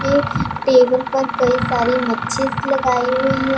Table पर कई सारी मच्छिस लगाई हुई है।